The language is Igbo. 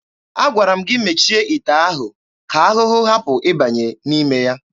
Agwara m gị mechie ite ahụ ka ahụhụ hapụ ịbanye n'ime ya!